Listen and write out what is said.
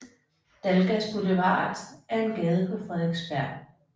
Dalgas Boulevard er en gade på Frederiksberg